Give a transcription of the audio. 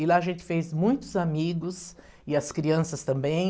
E lá a gente fez muitos amigos e as crianças também.